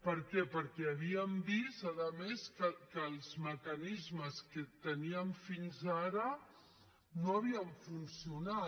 per què perquè havíem vist a més que els mecanismes que teníem fins ara no havien funcionat